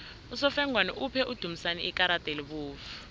usofengwana uphe udumisani ikarada elibovu